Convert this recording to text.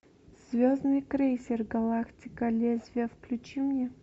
звездный крейсер галактика лезвие включи мне